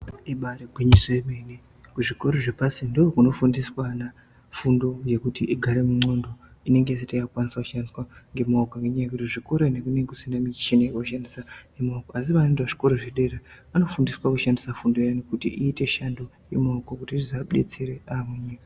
Ibayiri gwinyiso yemene kuzvikoro zvepasi ndookunofundiswe vana fundo yekuti igare mundxondo inenge isati yaakukwanisa kushandiswa ngemaoko ngenyaa yekuti kuzvikora uko kunenge kusina mishini yekushandisa ngemaoko asi vanoende kuzvikora zvedera anofundiswa kushandisa fundo iyani kuti iite shando yemaoko kuti zvizovabetsere aamunyika.